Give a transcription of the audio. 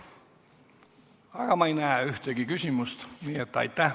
Aga ma ei näe ühtegi küsimust.